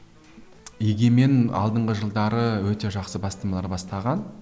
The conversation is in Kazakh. егемен алдыңғы жылдары өте жақсы бастамалар бастаған